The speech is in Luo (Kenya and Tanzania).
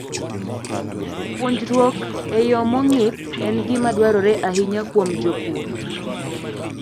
Puonjruok e yo mong'ith en gima dwarore ahinya kuom jopur.